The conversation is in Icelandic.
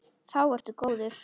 Þá ertu góður.